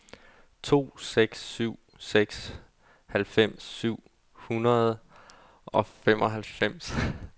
to seks syv seks halvfems syv hundrede og femoghalvfems